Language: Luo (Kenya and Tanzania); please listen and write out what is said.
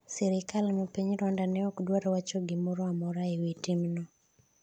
sirikal ma piny Rwanda ne ok dwar wacho gimoro amora ewi timno